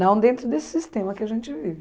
Não dentro desse sistema que a gente vive.